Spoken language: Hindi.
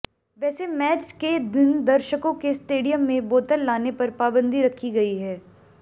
वैसे मैच के दिन दर्शकों के स्टेडियम में बोतल लाने पर पाबंदी रखी गई है